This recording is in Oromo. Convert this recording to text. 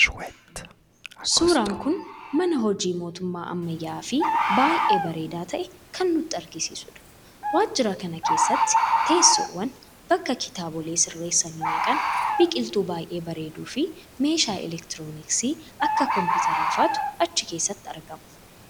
suuraan kun mana hojii mootummaa ammayyaa'aafi baay'ee bareedaa ta'e kan nutti agarsiisudha. waajira kana keesatti teessoowwan, bakka kitaabolee sirreessanii naqan, biqiltuu baay'ee bareeduufi meeshaa elektrooniksii akka kompiitaraa faatu achi keessatti argama.